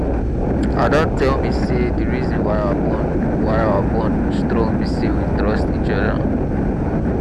ada tell me say the reason why our bond why our bond strong be say we trust each other